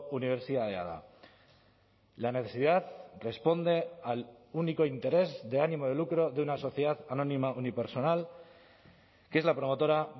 unibertsitatea da la necesidad responde al único interés de ánimo de lucro de una sociedad anónima unipersonal que es la promotora